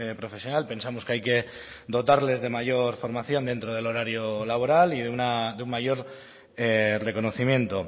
profesional pensamos que hay que dotarles de mayor formación dentro del horario laboral y de un mayor reconocimiento